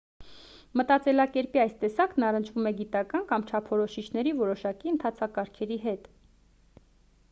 մտածելակերպի այս տեսակն առնչվում է գիտական կամ չափորոշիչների որոշակի ընթացակարգերի հետ